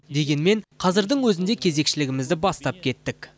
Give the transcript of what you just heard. дегенмен қазірдің өзінде кезекшілігімізді бастап кеттік